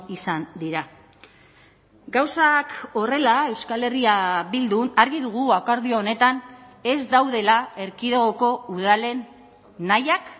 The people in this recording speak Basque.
izan dira gauzak horrela euskal herria bildun argi dugu akordio honetan ez daudela erkidegoko udalen nahiak